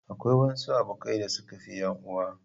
Akwai wasu abokai da suka fi 'yan uwa.